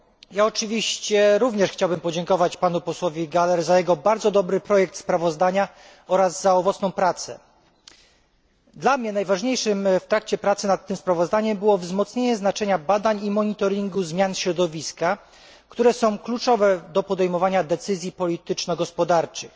Ja oczywiście również chciałbym podziękować panu posłowi Gahler za jego bardzo dobry projekt sprawozdania oraz za owocną pracę. Dla mnie najważniejszym w trakcie pracy nad tym sprawozdaniem było wzmocnienie znaczenia badań i monitoringu zmian środowiska, które są kluczowe do podejmowania decyzji polityczno gospodarczych.